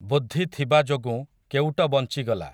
ବୁଦ୍ଧି ଥିବା ଯୋଗୁଁ କେଉଟ ବଞ୍ଚିଗଲା ।